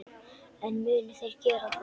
En munu þeir gera það?